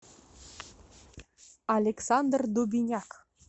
александр дубиняк